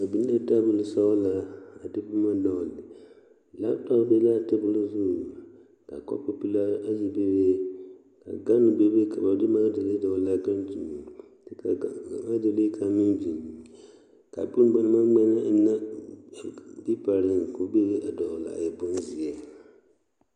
Ba biŋ la tabuli sɔɡelaa a de boma dɔɡele laputɔpu be la a tabuli zu ka kɔpupelaa ayi bebe ɡane bebe ka ba de makedalee dɔɡele a ɡane zu kyɛ ka a makedalee kaŋa meŋ biŋ ka bone ba na maŋ ŋmɛnɛ ennɛ peepareŋ meŋ dɔɡele a e bonzeɛ.